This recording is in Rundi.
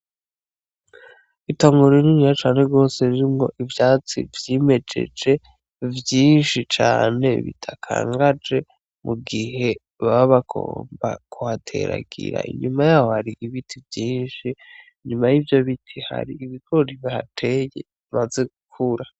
Itongo rininiya cane gose ririmwo ivyatsi vyimejeje vyinshi cane bidakangaje mugihe baba bagomba kuhateragira ,inyuma yaho har'ibiti vyinshi inyuma yivyo biti har'ibigori bahateye bimaze gukura.